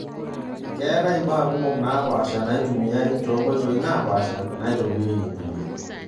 Keatae imbaa kumok naapasha naatumiae too nkoitoi naapasha naitobirieki empulia.